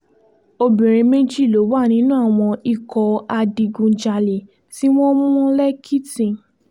obìnrin méjì ló wà nínú àwọn ikọ̀ adigunjalè tí wọ́n mú lẹ́kìtì